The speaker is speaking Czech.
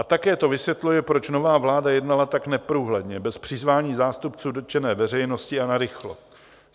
A také to vysvětluje, proč nová vláda jednala tak neprůhledně, bez přizvání zástupců dotčené veřejnosti a narychlo.